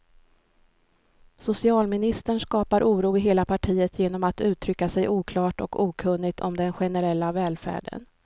Socialministern skapar oro i hela partiet genom att uttrycka sig oklart och okunnigt om den generella välfärden.